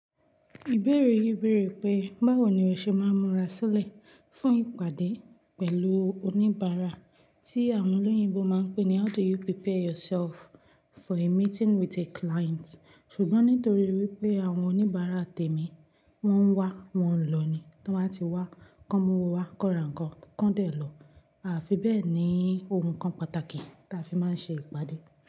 Ìbéèrè yìí béèrè pé báwo ni o ṣe máa ń múra sílẹ̀ fún ìpàdé pẹ̀lú oníbàárà tí àwọn olóyìnbo máa ń pè ní (how do you prepare yourself for a meeting with a client?) ṣùgbọ́n nítorí wípé àwọn oníbàárà tèmi wọ́n ń wá, wọ́n ń lọ ni. Tí wọ́n bá ti wá, kọ́mọ wọ́n wá, kọ̀rè nǹkan, kán dẹ̀ lọ. A fi bẹ́ẹ̀ ni ohun kan pàtàkì tí a fi máa ń ṣe ìpàdé.